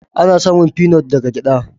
Ana samun finot daga gyada.